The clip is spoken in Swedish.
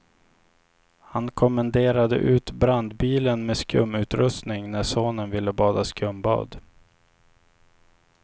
Han kommenderade ut brandbilen med skumutrustning när sonen ville bada skumbad.